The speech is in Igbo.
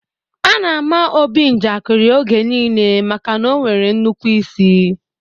A na àmà Obi njakiri oge niile maka na ọ nwere nnukwu ịsị